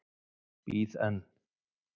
Bíð enn.